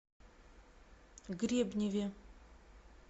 гребневе